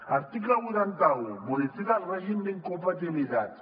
article vuitanta un modifica el règim d’incompatibilitats